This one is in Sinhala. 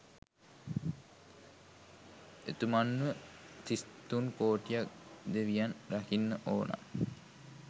එතුමන්ව තිස් තුන් කෝටියක් දෙවියන් රකින්න ඕන